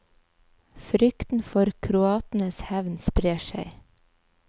Frykten for kroatenes hevn sprer seg.